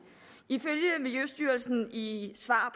ifølge miljøstyrelsen i svar